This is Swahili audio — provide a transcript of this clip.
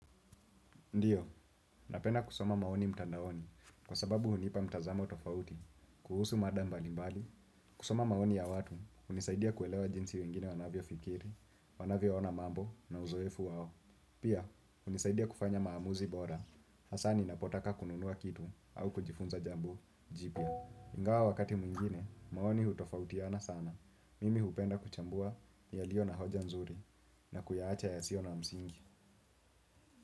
Ndiyo, napenda kusoma maoni mtandaoni, kwa sababu hunipa mtazamo tofauti, kuhusu mada mbali mbali, kusoma maoni ya watu, hunisaidia kuelewa jinsi wengine wanavyo fikiri, wanavyo ona mambo na uzoefu wao. Pia, hunisaidia kufanya maamuzi bora, hasa ni napotaka kununua kitu au kujifunza jambo jipya. Ingawa wakati mwingine, maoni hutofautiana sana, mimi hupenda kuchambua, ni alio na hoja nzuri, na kuyaacha ya sio na msingi.